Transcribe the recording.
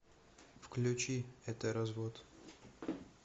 включи это развод